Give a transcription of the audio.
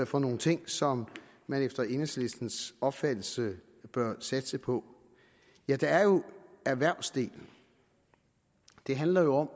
for nogle ting som man efter enhedslistens opfattelse bør satse på ja der er jo erhvervsdelen det handler jo om